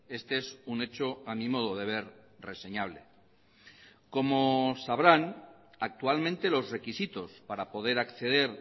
este es un hecho a mi modo de ver reseñable como sabrán actualmente los requisitos para poder acceder